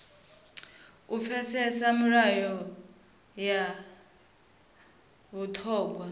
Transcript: u pfesesa milayo ya vhuṱhogwa